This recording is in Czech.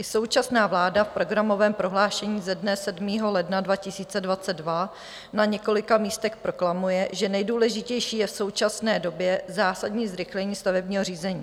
I současná vláda v programovém prohlášení ze dne 7. ledna 2022 na několika místech proklamuje, že nejdůležitější je v současné době zásadní zrychlení stavebního řízení.